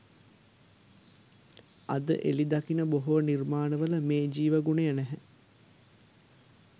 අද එළි දකින බොහෝ නිර්මාණවල මේ ජීව ගුණය නැහැ